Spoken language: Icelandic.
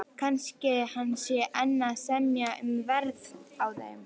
Kannski hann sé enn að semja um verð á þeim.